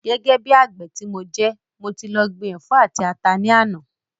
Gẹ́gẹ́ bí àgbè ti mo jẹ́, mo ti lọ gbin ẹ̀fọ́ àti ata ní àná